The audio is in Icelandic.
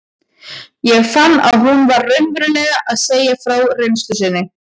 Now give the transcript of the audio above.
Ég fann að hún var raunverulega að segja frá reynslu sinni.